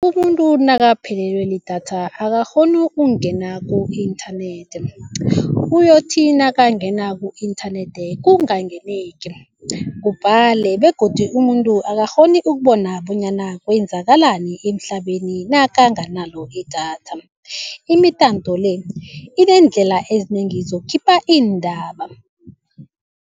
Umuntu nakaphelelwe lidatha akakghoni ukungena ku-internet uyothi nakangena ku-internet kubhale begodu umuntu akakghoni ukubona bonyana kwenzakalani emhlabeni nakanganalo idatha imitanto le ineendlela ezinengi zokukhipha iindaba.